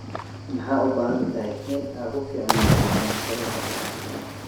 Ma u baahan tahay in aad ku fiicnaato cunto karinta?